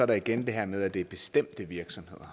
der igen det her med at det er bestemte virksomheder